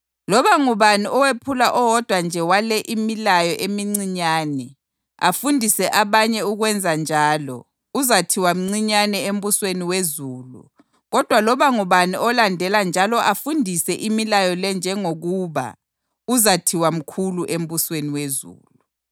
Loba ngubani owephula owodwa nje wale imilayo emincinyane, afundise abanye ukwenzanjalo uzathiwa mncinyane embusweni wezulu kodwa loba ngubani olandela njalo afundise imilayo le njengokuba, uzathiwa mkhulu embusweni wezulu.